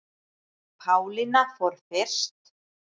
Pálína fór fyrst.